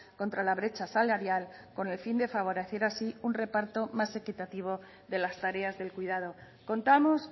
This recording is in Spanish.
contra la brecha salarial con el fin de favorecer así un reparto más equitativo de las tareas del cuidado contamos